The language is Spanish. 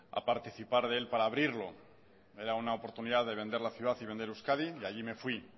a participar de él para abrirlo era una oportunidad de vender la ciudad y de vender euskadi y allí me fui